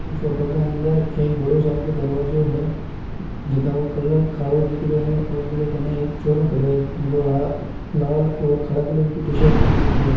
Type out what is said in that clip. इ फोटो के अंदर एक बड़ो सार को दरवाजो हैं जिका को कलर कालो दिख रहियो हैं और बीरे कने एक छोरो खड़ियो हैं जको ला लाल और काला कलर की टीशर्ट पहन रखी हैं।